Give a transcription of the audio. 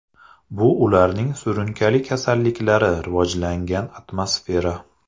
Bu ularning surunkali kasalliklari rivojlangan atmosfera.